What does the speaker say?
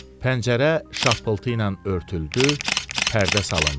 Pəncərə şapıltı ilə örtüldü, pərdə salındı.